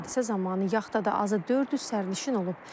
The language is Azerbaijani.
Hadisə zamanı yaxtada azı 400 sərnişin olub.